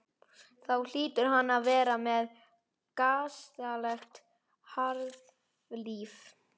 Þá hlýtur hann að vera með gasalegt harðlífi.